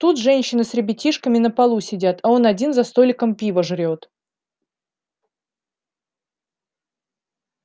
тут женщины с ребятишками на полу сидят а он один за столиком пиво жрёт